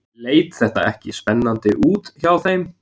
Leit þetta ekki spennandi út hjá þeim?